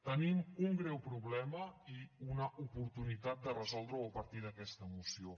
tenim un greu problema i una oportunitat de resoldre’l a partir d’aquesta moció